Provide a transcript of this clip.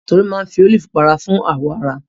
Tolú máa ń fi ólífì pa ara fún àwọ̀ ara